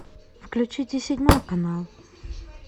включите седьмой канал